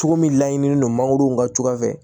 Cogo min laɲininen don mangoro ka cogoya fɛ